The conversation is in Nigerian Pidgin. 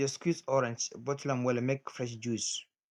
she dey squeeze orange bottle am well make fresh juice